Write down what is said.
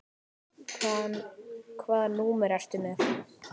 Hvaða númer ertu með?